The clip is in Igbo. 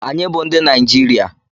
Anyị bụ ndị Naijiria.